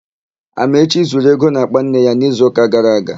Amaechi zuru ego n'àkpà nne ya n'izuụka gara aga.